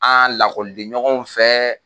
An lakɔliden ɲɔgɔnw fɛ